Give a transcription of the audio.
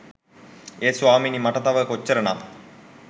ඒත් ස්වාමීනී මට තව කොච්චර නම්